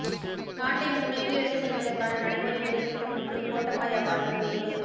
நாட்டை முன்னோக்கி எடுத்துச் செல்வதற்கான நடைமுறை வேலைத்திட்டம் ஒன்று கோட்டாபயவால் முன்வைப்பு